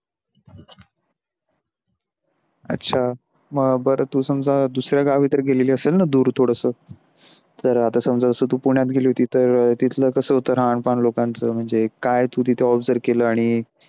अच्छा बर तू समजा दुसऱ्या गावी तर गेलेली असेल न दूर थोडस तर आता समजा तू आता पुण्यात गेली होती तर तिथल कस होत राहाण पण लोंकाच मंझे काय तू तिथ observe केल आनी.